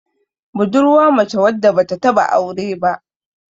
budurwa mace wadda ba ta taba aure ba